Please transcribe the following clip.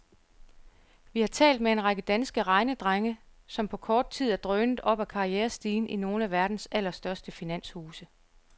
Vi har talt med en række danske regnedrenge, som på kort tid er drønet opad karrierestigen i nogle af verdens allerstørste finanshuse.